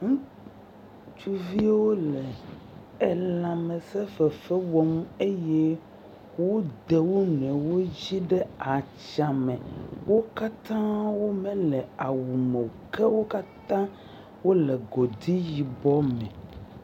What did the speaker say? Ŋutsuviwo le elãmesẽ fefe wɔm eye wode wo nɔewo dzi ɖe atsa me, ke wo katã womele awu meo, ke wo katãa wole godui yibɔ me.